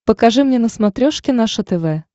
покажи мне на смотрешке наше тв